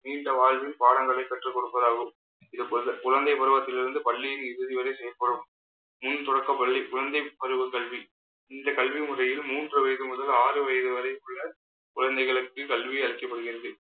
நீண்ட வாழ்வில் பாடங்களை கற்றுக் கொடுப்பதாகவும் இது போன்ற குழந்தைப் பருவத்தில் இருந்து பள்ளியின் இறுதிவரை செய்யப்படும் முன் தொடக்க பள்ளி குழந்தை பருவக் கல்வி இந்த கல்வி முறையில் மூன்று வயசு முதல் ஆறு வயசு வரை உள்ள குழந்தைகளுக்கு கல்வி அளிக்கப்படுகிறது